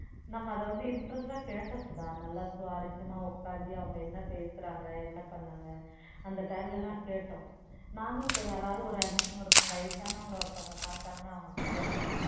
நம்ம அதை வந்து interest ஆ கேட்டோம் சுதா நல்லா சுவாரசியமா உட்கார்ந்து அவங்க என்ன பேசுறாங்க என்ன பண்ணாங்க அந்த time ல எல்லாம் கேட்டோம் நானும் இப்ப யாராவது ஒரு ஒரு வயசானவங்களை ஒருத்தவங்களை பார்த்தாங்கன்னா அவங்க கிட்ட கேட்பேன்